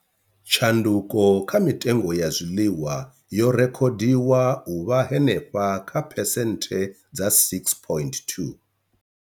Tshanduko kha mitengo ya zwiḽiwa yo rekhodiwa u vha henefha kha phesenthe dza 6.2.